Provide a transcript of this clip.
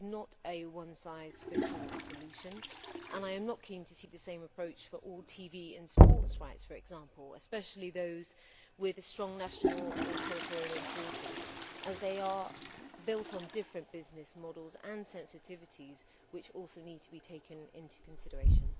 This is not a one size fits all solution and I am not keen to see the same approach for all TV and sports rights, for example, especially those with a strong national or territorial importance, as they are built on different business models and sensitivities, which also need to be taken into consideration.